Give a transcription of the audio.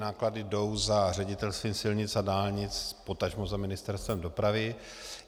Náklady jdou za Ředitelstvím silnic a dálnic, potažmo za Ministerstvem dopravy.